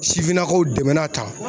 Sifinnakaw dɛmɛ na tan